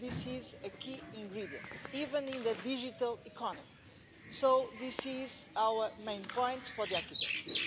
This is a key ingredient, even in the digital economy. So this is our main point for the architecture.